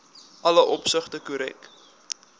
alle opsigte korrek